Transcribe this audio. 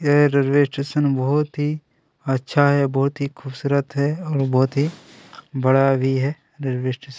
यह railway station बहोत ही अच्छा है बहोत ही खूबसूरत है और बहोत ही बड़ा भी है रेलवे स्टेशन --